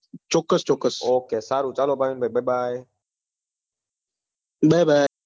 ચોક્કસ ચોક્કસ